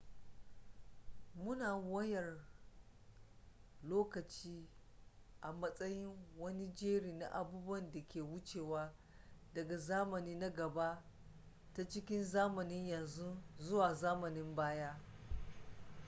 muna wayar lokaci a matsayin wani jeri na abubuwan da ke wucewa daga zamani na gaba ta cikin zamanin yanzu zuwa zamanin baya